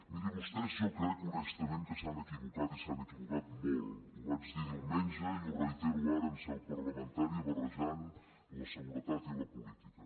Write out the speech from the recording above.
mirin vostès jo crec honestament que s’han equivocat i s’han equivocat molt ho vaig dir diumenge i ho reitero ara en seu parlamentària barrejant la seguretat i la política